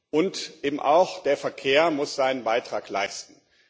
Und eben auch der Verkehr muss seinen Beitrag leisten.